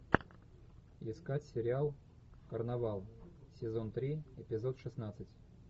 искать сериал карнавал сезон три эпизод шестнадцать